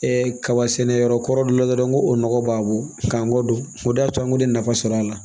kaba sɛnɛ yɔrɔ kɔrɔ dɔ la dɔrɔn ko o nɔgɔ b'a bolo k'a kɔ don o de y'a to an kun tɛ nafa sɔrɔ a la